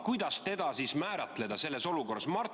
Kuidas teda siis määratleda selles olukorras?